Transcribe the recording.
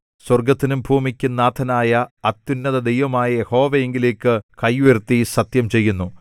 സ്വർഗ്ഗത്തിനും ഭൂമിക്കും നാഥനായ അത്യുന്നതദൈവമായ യഹോവയിങ്കലേക്ക് കൈ ഉയർത്തി സത്യം ചെയ്യുന്നു